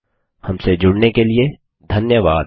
हमसे जुड़ने के लिए धन्यवाद